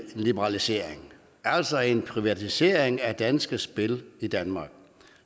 liberalisering altså en privatisering af danske spil i danmark